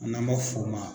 N'an ma f'o ma